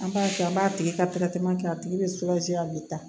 An b'a kɛ an b'a tigi ka kɛ a tigi bɛ a bɛ taa